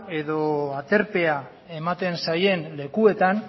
edo aterpea ematen zaien lekuetan